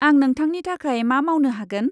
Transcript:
आं नोंथांनि थाखाय मा मावनो हागोन?